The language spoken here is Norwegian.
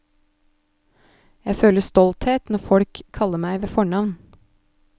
Jeg føler stolthet når folk kaller meg ved fornavn.